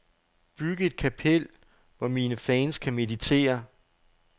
Byg et kapel, hvor mine fans kan meditere.